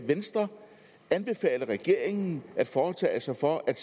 venstre anbefale regeringen at foretage sig for at